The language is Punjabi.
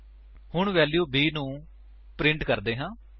ਹੁਣ ਵੈਲਿਊ b ਨੂੰ ਪ੍ਰਿੰਟ ਕਰਦੇ ਹਾਂ